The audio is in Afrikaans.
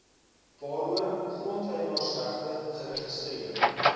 waaroor grondeienaarsregte geregistreer